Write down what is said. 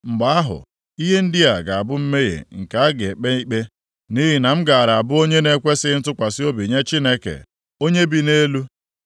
mgbe ahụ, ihe ndị a ga-abụ mmehie nke a ga-ekpe ikpe, nʼihi na m gaara abụ onye na-ekwesighị ntụkwasị obi nye Chineke, Onye bi nʼelu.